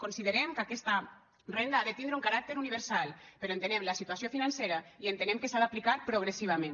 considerem que aquesta renda ha de tindre un caràcter universal però entenem la situació financera i entenem que s’ha d’aplicar progressivament